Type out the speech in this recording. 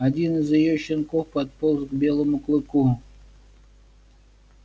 один из её щенков подполз к белому клыку